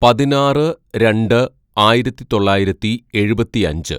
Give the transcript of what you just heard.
"പതിനാറ് രണ്ട് ആയിരത്തിതൊള്ളായിരത്തി എഴുപത്തിയഞ്ച്‌